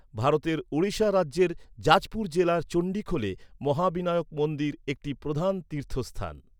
ভারতের ওড়িশা রাজ্যের জাজপুর জেলার চন্ডীখোলে মহাবিনায়ক মন্দির একটি প্রধান তীর্থস্থান।